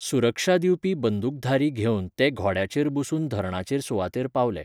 सुरक्षा दिवपी बंदूकधारी घेवन ते घोड्याचेर बसून धरणाचे सुवातेर पावले.